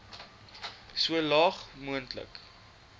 so laag moontlik